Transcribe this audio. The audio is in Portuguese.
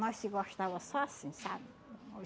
Nós se gostava só assim, sabe?